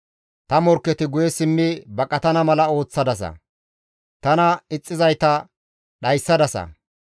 Ta morkketi guye simmi baqatana mala ooththadasa; tana ixxizayta dhayssadasa.